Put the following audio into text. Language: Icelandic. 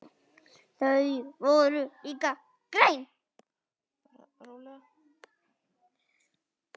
Þau voru líka græn.